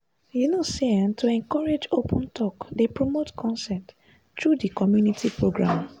you know say ehhn to encourage open talk dey promote consent through di community programs.